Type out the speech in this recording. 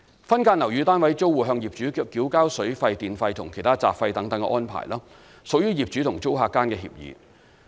分間樓宇單位租戶向業主繳交水費、電費和其他雜費等安排，屬業主和租客間的協議。